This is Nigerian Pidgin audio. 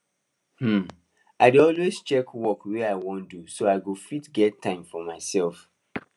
um i dey always check work wey i wan do so i go fit get time for myself